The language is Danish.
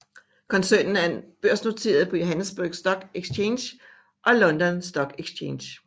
Koncernen er børsnoteret på Johannesburg Stock Exchange og London Stock Exchange